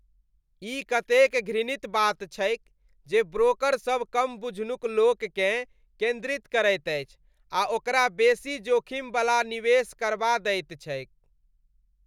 ई कतेक घृणित बात छैक जे ब्रोकर सब कम बुझनुक लोक केँ केंद्रित करैत अछि आ ओकरा बेसी जोखिमवला निवेश करबा दैत छैक।